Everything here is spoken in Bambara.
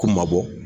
Ko mabɔ